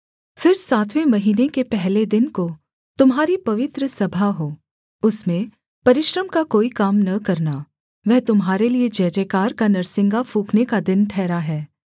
फिर सातवें महीने के पहले दिन को तुम्हारी पवित्र सभा हो उसमें परिश्रम का कोई काम न करना वह तुम्हारे लिये जयजयकार का नरसिंगा फूँकने का दिन ठहरा है